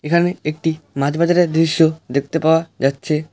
এখানে একটি মাছ বাজারের দৃশ্য দেখতে পাওয়া যাচ্ছে।